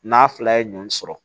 N'a fila ye ɲɔn sɔrɔ